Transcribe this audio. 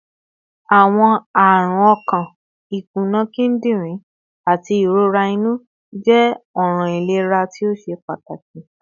Awọn arun ọkan, ikuna kidirin, ati irora inu jẹ awọn ọran ilera to ṣe pataki